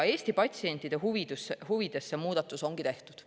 Eesti patsientide huvides see muudatus ongi tehtud.